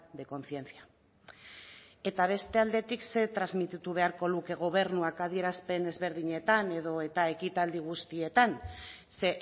de conciencia eta beste aldetik ze transmititu beharko luke gobernuak adierazpen ezberdinetan edo eta ekitaldi guztietan ze